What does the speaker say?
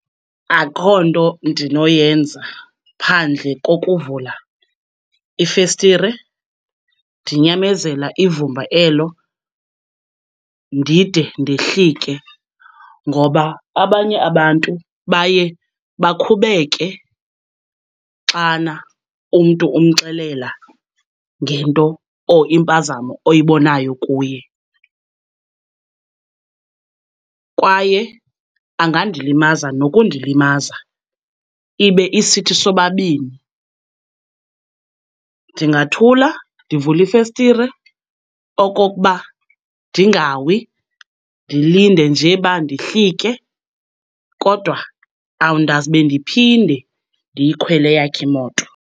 Akukho nto ndinoyenza phandle kokuvula ifestire ndinyamezela ivumba elo ndide ndehlike. Ngoba abanye abantu baye bakhubeke xana umntu umxelela ngento or impazamo oyibonayo kuye kwaye angandilimaza nokundilimaza ibe isithi sobabini. Ndingathula, ndivule ifestire okokuba ndingawi, ndilinde nje uba ndihlike kodwa awundazibe ndiphinde ndiyikhwele eyakhe imoto.